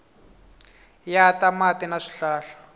ya ta mati na swihlahla